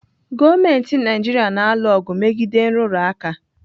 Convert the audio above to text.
Gọọmenti Naijiria na-alụ ọgụ megide nrụrụ aka.